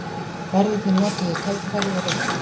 Verðirnir notuðu tækifærið og reyktu.